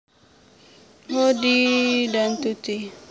Heddie dan Tuti